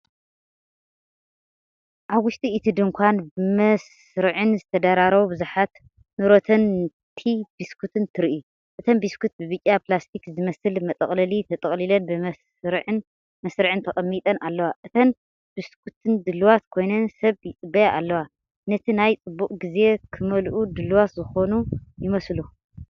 ኣብ ውሽጢ እቲ ድኳን፡ ብመስርዕን ዝተደራረቡ ብዙሓት “ኑርተን” ቲ-ቢስኩት ትርኢ። እተን ቢስኩት ብብጫ ፕላስቲክ ዝመስል መጠቕለሊ ተጠቕሊለን፡ ብመስርዕን መስርዕን ተቀሚጠን፡ ኣለዋ። እተን ቢስኩት ድልዋት ኮይነን ሰብ ይጽበያ ኣለዋ፤ ነቲ ናይ ፅቡቅ ግዜ ክመልኡ ድሉዋት ዝኾኑ ይመስሉ።